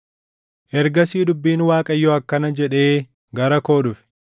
Ergasii dubbiin Waaqayyoo akkana jedhee gara koo dhufe: